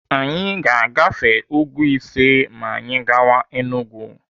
Anyị ga-agafe úgwú ise ma anyị gawa Enugu.